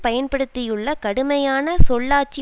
பயன்படுத்தியுள்ள கடுமையான சொல்லாட்சி